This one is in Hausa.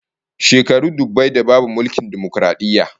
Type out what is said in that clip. Shekaru dubbai da babu mulkin dimokaradiyya